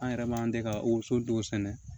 An yɛrɛ b'an tɛ ka woso dɔw sɛnɛ